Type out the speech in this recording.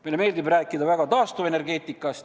Meile meeldib rääkida taastuvenergeetikast.